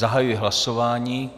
Zahajuji hlasování.